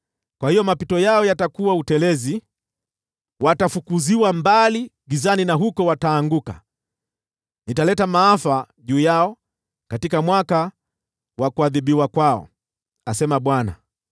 “Kwa hiyo mapito yao yatakuwa utelezi, watafukuziwa mbali gizani na huko wataanguka. Nitaleta maafa juu yao katika mwaka wa kuadhibiwa kwao,” asema Bwana .